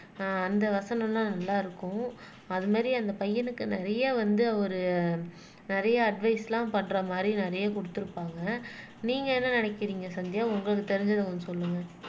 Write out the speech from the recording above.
ஆஹ் அந்த வசனம் எல்லாம் நல்லா இருக்கும் அது மாறி அந்த பையனுக்கு நிறைய வந்து அவரு நிறைய அட்வைஸ் எல்லாம் பண்ற மாறி நிறைய குடுத்திருப்பாங்க நீங்க என்ன நினைக்கிறீங்க சந்தியா உங்களுக்கு தெரிஞ்சதை கொஞ்சம் சொல்லுங்க